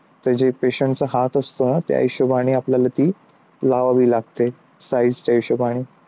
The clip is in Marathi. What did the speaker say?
त्याचे patient हात असतो ना? त्या हिशोबाने थी लावावी लागते size च्या हिशोबाने